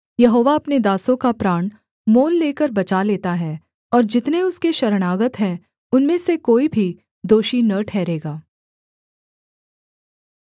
यहोवा अपने दासों का प्राण मोल लेकर बचा लेता है और जितने उसके शरणागत हैं उनमें से कोई भी दोषी न ठहरेगा